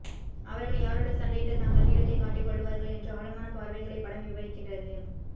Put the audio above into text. அவர்கள் யாரோடு சண்டையிட்டு தங்கள் வீரத்தை காட்டிக் கொள்வார்கள் என்று ஆழமான பார்வைகளை படம் விவரிக்கிறது